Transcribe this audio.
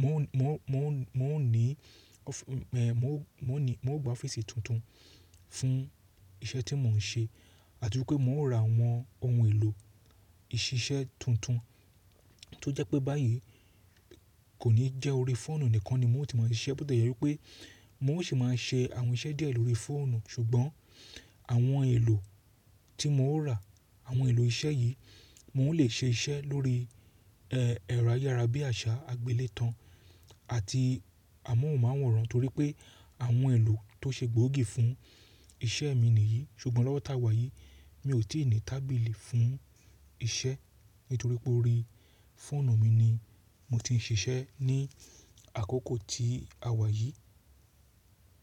móhún, móhùn, móhùn, móhùn ní ọ́fí, ẹ̀, mo ó ní, mo ó gba ọ́fíìsì tuntun fún iṣẹ́ tí mo ń ṣe àti wípé mo ó ra àwọn ohun èlò ìṣiṣẹ́ tuntun tó jẹ́ pé báyìí kò ní jẹ́ orí fóònù nìkan ni mo ti máa ń ṣiṣẹ́, bó ti jẹ́ wípé mo ó sì máa ń ṣe àwọn iṣẹ́ díẹ̀ lórí fóònù ṣùgbọ́n àwọn èlò tí mo ó ra, àwọn èlò iṣẹ́ yìí mo ń lè ṣe iṣẹ́ lórí, ẹ́, ẹ̀rọ ayárabíàṣá, agbélétan àti amóhùnmáwòrán torí pé àwọn èlò tó ṣe gbóògì fún iṣẹ́ mi nìyí. Ṣùgbọ́n lọ́wọ́ tá wà yìí mi ò tí ì ní tábìlì fún iṣẹ́ nítorí pé orí fóònù mi ni mo ti ń ṣiṣẹ́ ní àkókò tí a wà yìí.